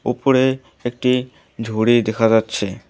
উপরে একটি ঝুড়ি দেখা যাচ্ছে।